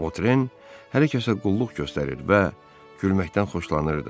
Votren hər kəsə qulluq göstərir və gülməkdən xoşlanırdı.